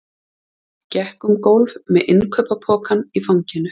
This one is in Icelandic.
Gekk um gólf með innkaupapokann í fanginu.